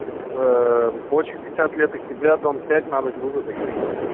очен надо грузотакси